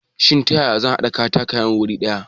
Shin ta ya ya ne zan haɗa katakayen wuri guda?